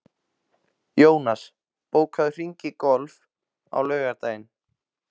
Jónas, bókaðu hring í golf á laugardaginn.